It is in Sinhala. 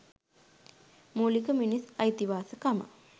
මුලික මිනිස් අයිතිවාසිකම